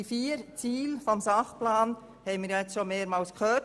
Die vier Ziele des Sachplans haben wir heute bereits mehrmals gehört.